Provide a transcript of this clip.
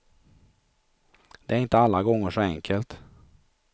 Det är inte alla gånger så enkelt.